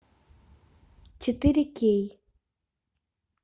четыре кей